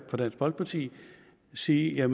fra dansk folkeparti sige at